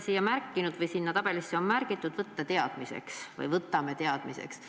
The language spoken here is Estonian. Sinna tabelisse on märgitud: "Võtame teadmiseks".